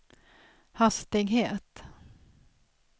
hastighet